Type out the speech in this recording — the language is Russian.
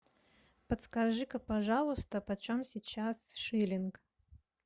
подскажи ка пожалуйста почем сейчас шиллинг